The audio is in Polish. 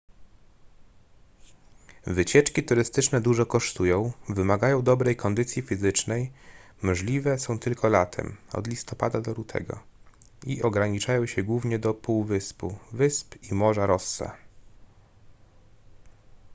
wycieczki turystyczne dużo kosztują wymagają dobrej kondycji fizycznej możliwe są tylko latem od listopada do lutego i ograniczają się głównie do półwyspu wysp i morza rossa